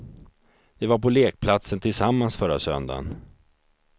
De var på lekplatsen tillsammans förra söndagen.